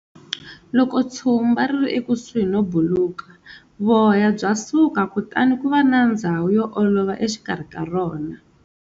Loko tshumba ri ri ekusuhi no buluka, voya bya suka kutani ku va na ndzhawu yo olova exikarhi ka rona.